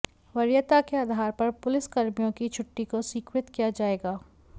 वरीयता के आधार पर पुलिसकर्मियों की छुट्टी को स्वीकृत किया जाएगा